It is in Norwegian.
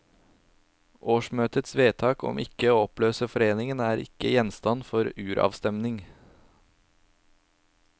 Årsmøtets vedtak om ikke å oppløse foreningen er ikke gjenstand for uravstemning.